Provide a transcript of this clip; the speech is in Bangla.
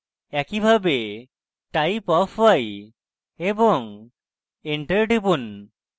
একইভাবে typeof y এবং enter টিপুন